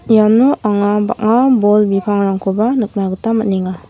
iano anga bang·a bol bipangrangkoba nikna gita man·enga.